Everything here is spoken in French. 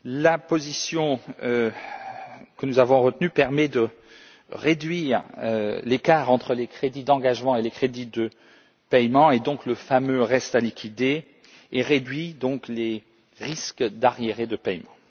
La position que nous avons retenue permet de réduire l'écart entre les crédits d'engagement et les crédits de paiement et, donc, le fameux reste à liquider, et réduit par conséquent les risques d'arriérés de paiement.